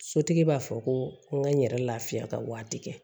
Sotigi b'a fɔ ko n ka n yɛrɛ lafiya ka waati kɛ